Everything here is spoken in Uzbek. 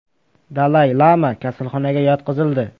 Dalay Lama kasalxonaga yotqizildi.